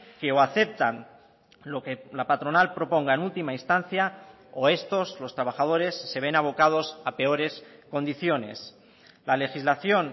que o aceptan lo que la patronal proponga en última instancia o estos los trabajadores se ven abocados a peores condiciones la legislación